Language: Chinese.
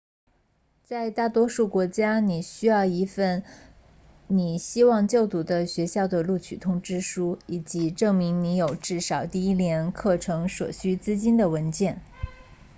在大多数国家你需要一份你希望就读的学校的录取通知书以及证明你有至少第一年课程所需资金的文件